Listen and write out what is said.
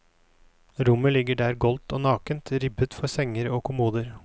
Rommet ligger der goldt og nakent, ribbet for senger og kommoder.